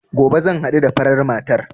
Gobe zan haɗu da farar matar